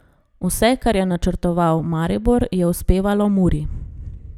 Vse, kar je načrtoval Maribor, je uspevalo Muri.